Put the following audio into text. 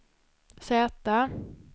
Z